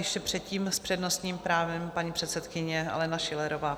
Ještě předtím s přednostním právem paní předsedkyně Alena Schillerová.